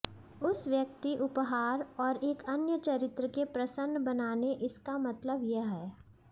उस व्यक्ति उपहार और एक अन्य चरित्र के प्रसन्न बनाने इसका मतलब यह है